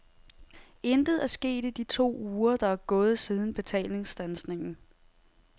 Intet er sket i de to uger, der er gået siden betalingsstandsningen.